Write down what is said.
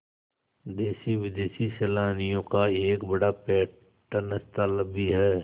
देशी विदेशी सैलानियों का एक बड़ा पर्यटन स्थल भी है